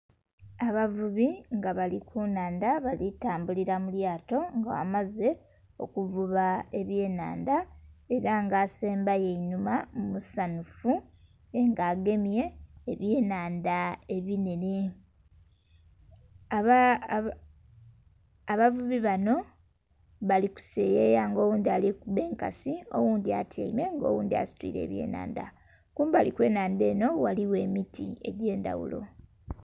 Abavubi nga bali kunhandha bali tambulira mulyato nga amaze okuvuba ebyenhandha era nga asembayo einhuma musanhufu nga agemye ebyenhandha ebinhenhe. Abavubi bano bali kuseyeya nga oghundhi alikuba enkasi, oghundhi atyaime nga oghundhi asitwire ebyenhandha, kumbali okwenhandha eno ghaligho emiti egyendhaghulo.